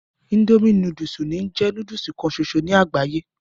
Indomie núdúsì ń jẹ́ núdúsì kan ṣoṣo ní àgbáyé